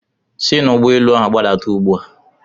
Si n'ụgbọelu ahụ gbadata ugbu a!